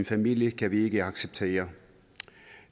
familie kan vi ikke acceptere